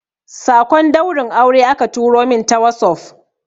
sakon daurin aure aka turo min ta wasof